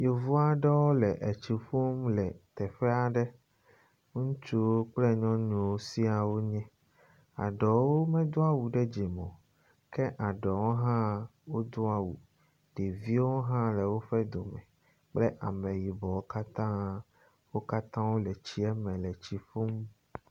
Yevu aɖewo le etsi ƒum le teƒe aɖe. Ŋutsuwo kple nyɔnuwo sia wo nye. Eɖewo medo awu ɖe dzime o ke eɖewo hã wodo awu. Ɖeviwo hã le woƒe dome kple ameyibɔwo katã. Wo katã le tsi me le etsi ƒum.